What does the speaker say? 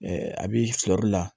a bɛ sɔr'i la